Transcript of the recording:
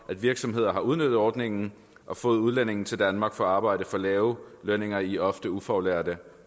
at virksomheder har udnyttet ordningen og fået udlændinge til danmark for at arbejde for lave lønninger i ofte ufaglærte